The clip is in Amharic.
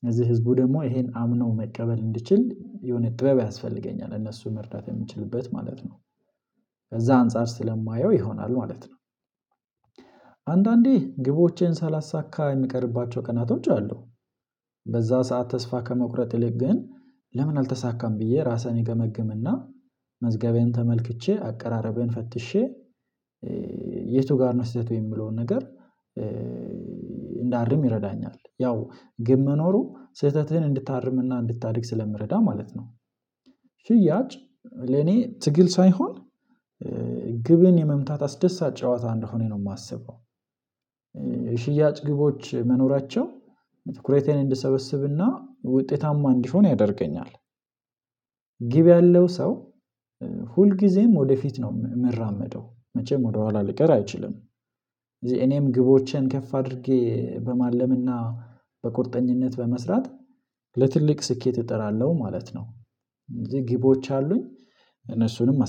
ስለዚህ ህዝቡ ደግሞ ይሄን አምኖ መቀበል እንድችል የሆነ ጥበብ ያስፈልገኛል እነሱ መርዳት የምችልበት ማለት ነው። ከዚያ አንፃር ስለማየው ይሆናል ማለት ነው። አንዳንዴ ግቦቼን ሳላሳካ የሚቀርባቸው ቀናቶች አሉ። በዚያ ሰዓት ተስፋ ከመቁረጥ ይልቅ ግን ለምን አልተሳካም? ብዬ ራሴን እገመግምና መዝገቤን ተመልክቼ አቀራረቤን ፈትሼ የቱ ጋር ነው ስህተት የምለውን ነገር እንዳርም ይረዳኛል ያው ግብ መኖሩ ስህተትን እንድታርምና እንድታድግ ስለምረዳ ማለት ነው። ሽያጭ ለእኔ ትግል ሳይሆን ግብን የመምታት አስደሳች ጨዋታ እንደሆነ ነው የማስበው። ሽያጭ ግቦች መኖራቸው ትኩረቴን እንድሰበስብና ውጤታማ እንዲሆን ያደርገኛል። ግብ ያለው ሰው ሁል ጊዜም ወደፊት ነው የምራመደው መቼም ወደኋላ ልቀር አይችልም። እኔም ግቦቼን ከፍ አድርጌ በማለምና በቁርጠኝነት በመስራት ለትልቅ ስኬት እጥራለሁ ማለት ነው። ስለዚህ ግቦች አሉኝ። እነሱንም